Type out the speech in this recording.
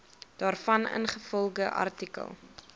daarvan ingevolge artikel